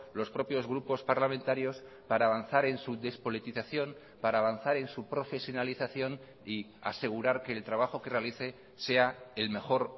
los propios grupos parlamentarios para avanzar en su despolitización para avanzar en su profesionalización y asegurar que el trabajo que realice sea el mejor